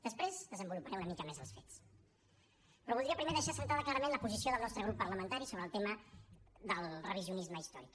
després desenvoluparé una mica més els fets però voldria primer deixar assentada clarament la posició del nostre grup parlamentari sobre el tema del revisionisme històric